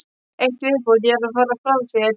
Eitt í viðbót: ég er að fara frá þér.